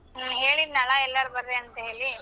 ಹ್ಮ್, ಹೇಳಿದ್ನಲ್ಲಾ ಎಲ್ಲಾರು ಬರ್ರಿ ಅಂತ ಹೇಳಿ.